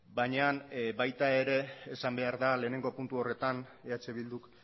baina baita ere esan behar da lehenengo puntu horretan eh bilduk